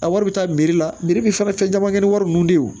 A wari bɛ taa la bi fɛn caman kɛ ni wari ninnu de ye